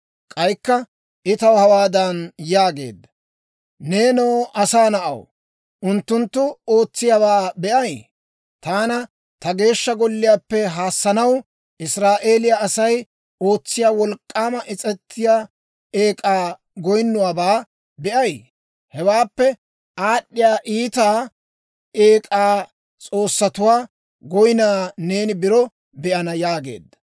K'aykka I taw hawaadan yaageedda; «Neenoo asaa na'aw, unttunttu ootsiyaawaa be'ay? Taana ta Geeshsha Golliyaappe haassanaw Israa'eeliyaa Asay ootsiyaa wolk'k'aama is's'etiyaa eek'aa goynnuwaabaa be'ay? Hewaappekka aad'd'iyaa iitiyaa eek'aa s'oossatuwaa goynaa neeni biro be'ana» yaageedda.